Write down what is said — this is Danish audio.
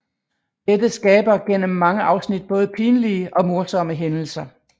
Dette skaber gennem mange afsnit både pinlige og morsomme hændelser